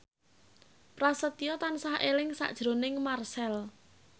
Prasetyo tansah eling sakjroning Marchell